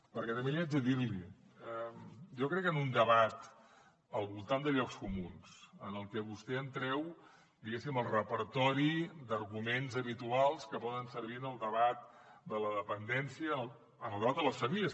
perquè també l’hi haig de dir jo crec que en un debat al voltant de llocs comuns en el que vostè em treu diguéssim el repertori d’arguments habituals que poden servir en el debat de la dependència en el debat de les famílies